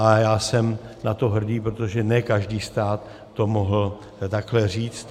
A já jsem na to hrdý, protože ne každý stát to mohl takhle říct.